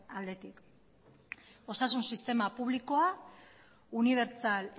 aldetik osasun sistema publikoa unibertsal